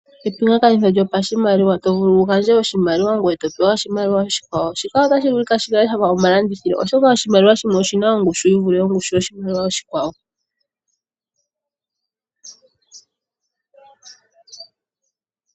Epingakanitho lyopashimaliwa, to vulu wu gandje oshimaliwa ngoye to pewa oshimaliwa oshikwawo. Shika otashi vulu shi kale shafa omalandithilo oshoka oshimaliwa shimwe oshina ongushu yi vule yoshimaliwa oshikwawo.